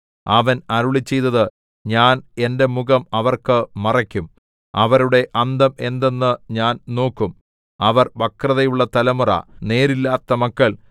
അവൻ അരുളിച്ചെയ്തത് ഞാൻ എന്റെ മുഖം അവർക്ക് മറയ്ക്കും അവരുടെ അന്തം എന്തെന്ന് ഞാൻ നോക്കും അവർ വക്രതയുള്ള തലമുറ നേരില്ലാത്ത മക്കൾ